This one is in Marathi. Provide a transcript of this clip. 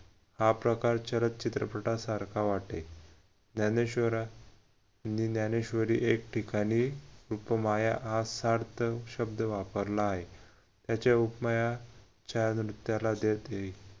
हा प्रकार चरचित्रपटासारखा वाटे ज्ञानेश्वरांनी ज्ञानेश्वरी एक ठिकाणी उपमाया असा सार्थ शब्द वापरला आहे. त्याचे उपमाया